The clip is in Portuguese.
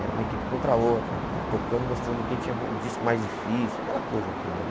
Era uma equipe contra a outra né, tocando, mostrando quem tinha o disco mais difícil, aquela coisa toda, né?